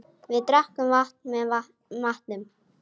Við drekkum vatn með matnum.